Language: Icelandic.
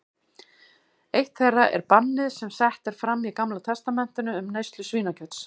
Eitt þeirra er bannið sem sett er fram í Gamla testamentinu um neyslu svínakjöts.